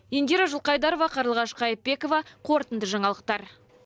индира жылқайдарова қарлығаш қайыпбекова қорытынды жаңалықтар